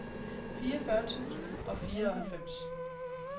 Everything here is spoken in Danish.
fireogfyrre tusind og fireoghalvfems